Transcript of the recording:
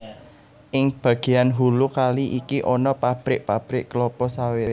Ing bagéan hulu kali iki ana pabrik pabrik klapa sawit